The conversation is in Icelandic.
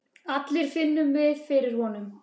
allir finnum við fyrir honum.